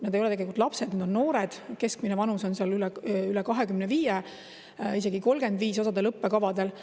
Nad ei ole tegelikult lapsed, need on noored, keskmine vanus on seal üle 25, isegi 35 osal õppekavadel.